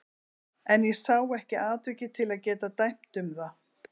En ég sá ekki atvikið til að geta dæmt um það.